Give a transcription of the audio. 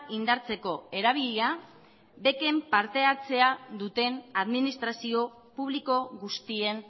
indartzeko erabilia bec en partehartzea duten administrazio publiko guztien